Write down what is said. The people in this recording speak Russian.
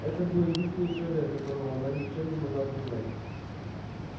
это был единственный человек которого она ничем не могла принять